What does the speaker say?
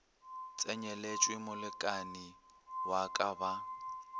tsenyeletšwe molekani wa ka ba